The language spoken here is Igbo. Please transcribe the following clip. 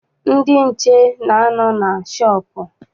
Ndị nche na-anọ na shọọpụ.